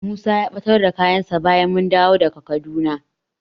Musa ya ɓatar da kayansa bayan mun dawo daga Kaduna.